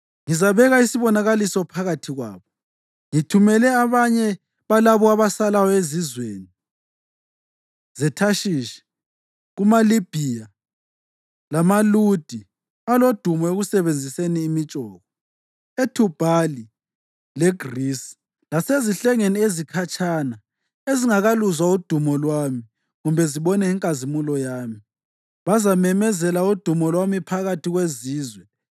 “Ngizabeka isibonakaliso phakathi kwabo, ngithumele abanye balabo abasalayo ezizweni zeThashishi, kumaLibhiya, lamaLudi (alodumo ekusebenziseni imitshoko), eThubhali leGrisi lasezihlengeni ezikhatshana ezingakaluzwa udumo lwami kumbe zibone inkazimulo yami. Bazamemezela udumo lwami phakathi kwezizwe.